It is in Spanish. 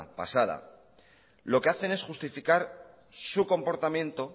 pasada lo que hacen es justificar su comportamiento